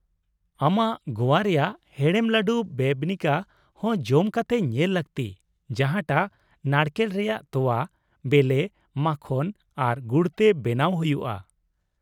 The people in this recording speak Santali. ᱟᱢᱟᱜ ᱜᱚᱣᱟ ᱨᱮᱭᱟᱜ ᱦᱮᱲᱮᱢ ᱞᱟᱹᱰᱩ ᱵᱮᱵᱱᱤᱠᱟ ᱦᱚᱸ ᱡᱚᱢ ᱠᱟᱛᱮ ᱧᱮᱞ ᱞᱟᱹᱠᱛᱤ ᱡᱟᱦᱟᱸ ᱴᱟᱜ ᱱᱟᱲᱠᱮᱞ ᱨᱮᱭᱟᱜ ᱛᱳᱣᱟ, ᱵᱮᱞᱮ, ᱢᱟᱠᱷᱚᱱ ᱟᱨ ᱜᱩᱲ ᱛᱮ ᱵᱮᱱᱟᱣ ᱦᱩᱭᱩᱜᱼᱟ ᱾